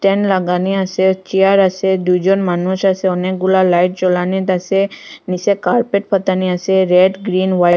Fan লাগানি আসে chair আসে দুইজন মানুষ আসে অনেকগুলা লাইট জ্বলানিত আসে নীসে কার্পেট পাতানি আসে রেড গ্রিন ওয়াইট ।